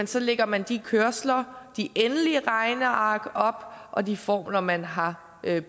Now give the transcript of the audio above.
så lægger man de kørsler og de endelige regneark og de formler man har